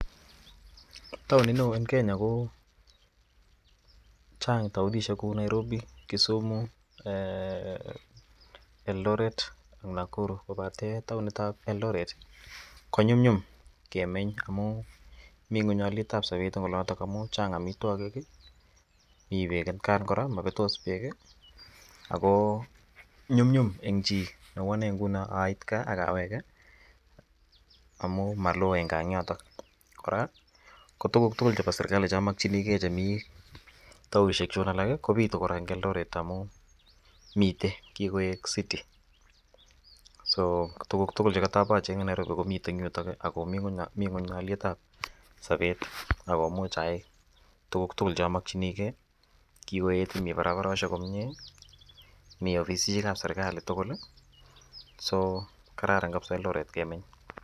Taoni no en Kenya ko Chang taonishiek Kou Nairobi, Kisumu , Eldoret AK Nakuru kobaten taonit ab Eldoret konyumnyumun kemeny amun mingonyalet ab sober en oloton amun Chang amitwakik mi bek kora akomabetos bek ako nyumnyum en chi Neu Ane inguni ngunon sit gaa akawege amun Malo gaa en yoton koraa ko tuguk tugul chebo serikali chamakinik geitaonishek Chun alak bitu koraa en Eldoret amun mite kikoig city ako tukug tugul nekatawendi achenge en Nairobi komiten yuton akomi alet ab Sabet akumuch ayai tukug tukul chamakinigei kikoet koraa koroshek komie mi ofisisek ab serikalit tugul ako kararan kabisa Eldoret kemeny